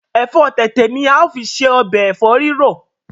efo tètè ni ao fi se Ọbẹ̀ efo rirọ.